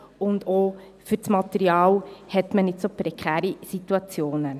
Auch beim Material hat man nicht so prekäre Situationen.